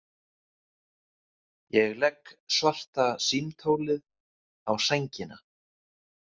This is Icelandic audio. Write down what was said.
Ég legg svarta símtólið á sængina.